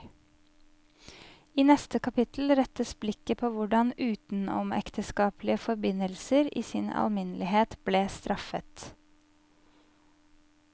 I neste kapittel rettes blikket på hvordan utenomekteskapelige forbindelser i sin alminnelighet ble straffet.